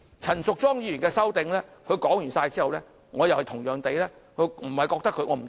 陳淑莊議員就其修訂建議發言之後，我同樣不覺得......